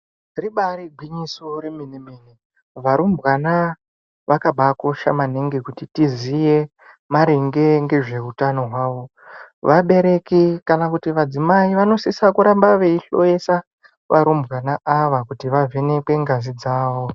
Ribari gwinyiso remene mene varumbwana vakabakosha maningi kuti tiziye maringe ngezveutano hwawo vabereki kana kuti vadzimai vanosisa kuramba veihloyesa varumbwana ava kuti vavhenekwe ngazi dzawo.